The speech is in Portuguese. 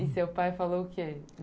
E seu pai falou o quê?